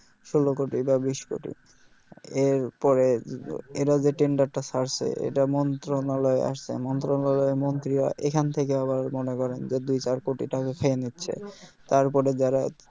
ষোলো কোটি বা বিশ কোটি আর পরে এরা যে tender টা ছাড়সে এটা মন্ত্রনালয়ে আসছে মন্ত্রনালয়ে মন্ত্রীরা এখান থেকে আবার মনে করে যে দুই চার কোটি টাকা খেয়ে নিচ্ছে তারপরে যারা